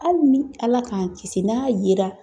Hali ni ala k'an kisi n'a yera.